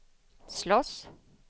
slåss